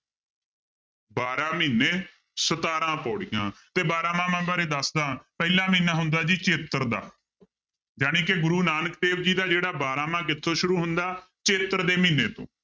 ਬਾਰਾਂ ਮਹੀਨੇ ਸਤਾਰਾਂ ਪਾਉੜੀਆਂ ਤੇ ਬਾਰਾਂਮਾਂਹ ਬਾਰੇ ਦੱਸਦਾਂ ਪਹਿਲਾਂ ਮਹੀਨਾ ਹੁੰਦਾ ਜੀ ਚੇਤਰ ਦਾ, ਜਾਣੀਕਿ ਗੁਰੂ ਨਾਨਕ ਦੇਵ ਜੀ ਦਾ ਜਿਹੜਾ ਬਾਰਾਂਮਾਂਹ ਕਿੱਥੋਂ ਸ਼ੁਰੂ ਹੁੰਦਾ ਚੇਤਰ ਦੇ ਮਹੀਨੇ ਤੋਂ